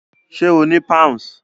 Ṣé o ni Pounds?